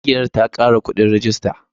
Ƙungiyar ta kara kuɗin rajista.